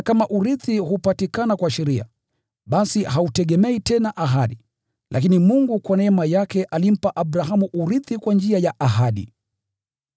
Kwa maana kama urithi hupatikana kwa sheria, basi hautegemei tena ahadi, lakini Mungu kwa neema yake alimpa Abrahamu urithi kwa njia ya ahadi.